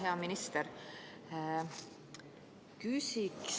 Hea minister!